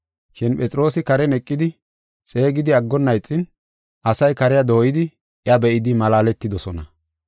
Shin Phexroosi karen eqidi xeegidi aggonna ixin asay kariya dooyidi iya be7idi malaaletidosona.